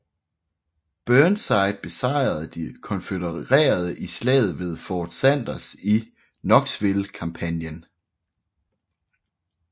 Burnside besejrede de konfødererede i Slaget ved Fort Sanders i Knoxville kampagnen